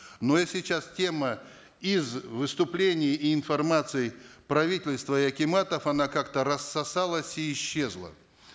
но и сейчас тема из выступлений и информации правительства и акиматов она как то рассосалась и исчезла